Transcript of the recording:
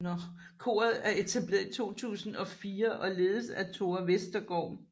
Koret er etableret i 2004 og ledes af Tóra Vestergaard